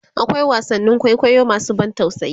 akwai wasannin kwaikwayo masu ban tausayi